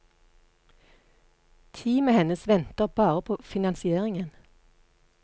Teamet hennes venter bare på finansieringen.